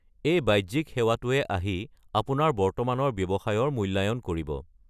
এই বাহ্যিক সেৱাটোৱে আহি আপোনাৰ বৰ্তমানৰ ব্যৱসায়ৰ মূল্যায়ন কৰিব।